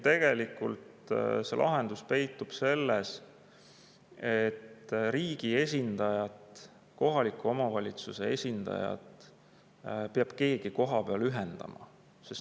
Tegelikult lahendus peitub selles, et riigi esindajaid ja kohalike omavalitsuste esindajaid peab keegi kohapeal ühendama.